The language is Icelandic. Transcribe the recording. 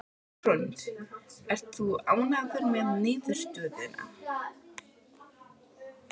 Hrund: Ert þú ánægður með niðurstöðuna?